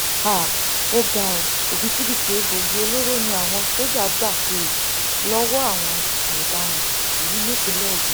um ó ga ọ òbítíbitì egbòogi olóró ni àwọn sójà gbà um lọwọ àwọn ọdaràn yìí nípínlẹ ogun